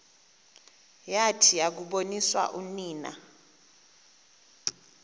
yathi yakuboniswa unina